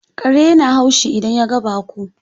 Kare ya na haushi idan ya ga baƙo.